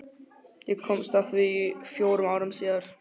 Ég komst að því fjórum árum síðar.